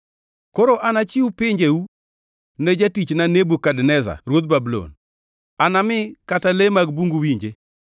Koro anachiw pinjeu ne jatichna Nebukadneza ruodh Babulon; anami kata le mag bungu winje.